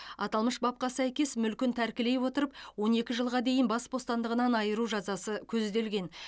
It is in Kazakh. аталмыш бабқа сәйкес мүлкін тәркілей отырып он екі жылға дейін бас бостандығынан айыру жазасы көзделген